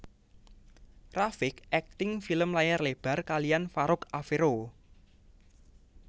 rafiq akting film layar lebar kaliyan Farouk Afero